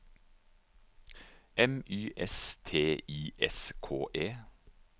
M Y S T I S K E